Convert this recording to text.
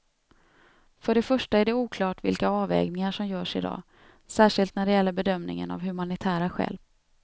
För det första är det oklart vilka avvägningar som görs i dag, särskilt när det gäller bedömningen av humanitära skäl.